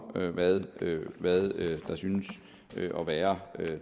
hvad hvad der synes at være